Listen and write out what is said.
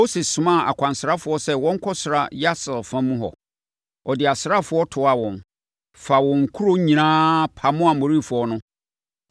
Mose somaa akwansrafoɔ sɛ wɔnkɔsrasra Yaser fa mu hɔ. Ɔde asraafoɔ toaa wɔn, faa wɔn nkuro nyinaa, pamoo Amorifoɔ no.